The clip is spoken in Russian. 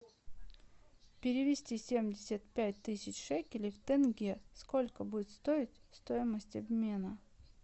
перевести семьдесят пять тысяч шекелей в тенге сколько будет стоить стоимость обмена